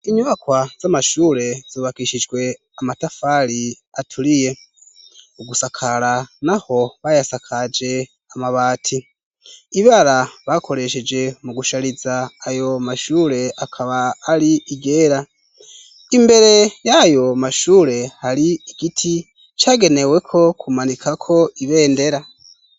Inyubakwa z'amashure zubakishijwe amatafari aturiye. Mu gusakara naho bayasakaje amabati. Ibara bakoresheje mu gushariza ayo mashure, akaba ari iryera. Imbere y'ayo mashure hari igiti, cageneweko kumanikako ibendera.